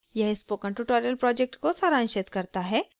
यह spoken tutorial project को सारांशित करता है